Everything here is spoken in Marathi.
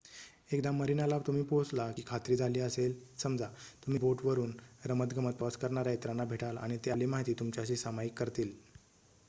एकदा मरीनाला तुम्ही पोहोचला की खात्री झाली असे समजा तुम्ही बोट वरुन रमतगमत प्रवास करणाऱ्या इतरांना भेटाल आणि ते आपली माहिती तुमच्याशी सामायिक करतील